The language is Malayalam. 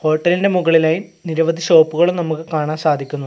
ഹോട്ടലിന്റെ മുകളിലായി നിരവധി ഷോപ്പുകളും നമുക്ക് കാണാൻ സാധിക്കുന്നു.